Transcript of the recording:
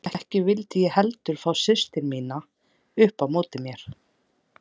Ekki vildi ég heldur fá systur mínar upp á móti mér.